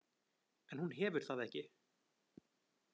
En hún hefur það ekki.